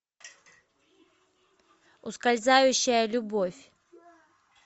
ускользающая любовь